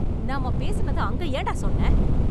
நாம பேசினத அங்க ஏன்டா சொன்ன?